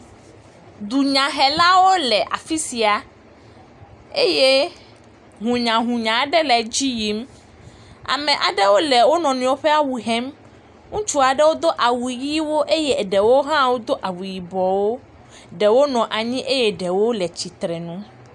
Dunyahelawo le afi sia eye hũnyahũnya aɖe le edzi yim. ame aɖewo le wo nɔnɔewo ƒe awu hem. Ŋutsu aɖewo do awu ʋiwo eye eɖewo hã wodo awu yibɔwo. Ɖewo nɔ anyi eye ɖewo le tsitre nu.